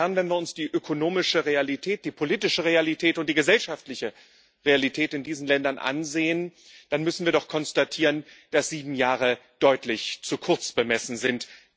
Wenn wir uns die ökonomische Realität, die politische Realität und die gesellschaftliche Realität in diesen Ländern ansehen, dann müssen wir doch konstatieren, dass sieben Jahre deutlich zu kurz bemessen sind.